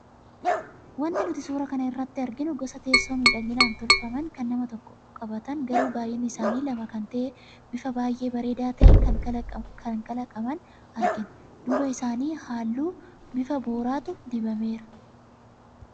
Wanti nuti suuraa kana irraa arginu gosa teessoo miidhaganii tolfaman kan nama tokko qabatan garuu baay'inni isaanii lama kan ta'e bifa baay'ee bareedaa ta'een kan kalaqaman argina, duuba isaanii halluu bifa booratu dibameera.